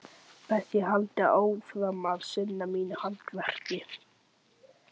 Best ég haldi áfram að sinna mínu handverki.